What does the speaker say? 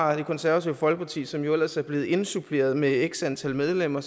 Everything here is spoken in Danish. har det konservative folkeparti som jo ellers er blevet indsuppleret med x antal medlemmer